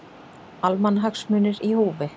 Almannahagsmunir í húfi